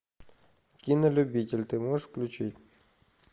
кинолюбитель ты можешь включить